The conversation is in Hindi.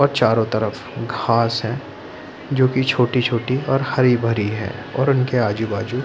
और चारों तरफ घास है जोकि छोटी-छोटी और हरी-भरी है और उनके आजु-बाजु --